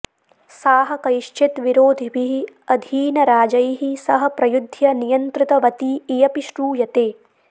साः कैश्चित् विरोधिभिः अधीनराजैः सह प्रयुध्य नियन्त्रितवती इयपि श्रूयते